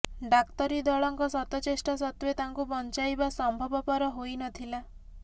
ଡାକ୍ତରୀଦଳଙ୍କ ଶତ ଚେଷ୍ଟା ସତ୍ୱେ ତାଙ୍କୁ ବଂଚାଇବା ସଂଭବପର ହୋଇନଥିଲା